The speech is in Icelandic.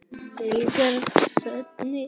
Til eru tvenns konar eyríki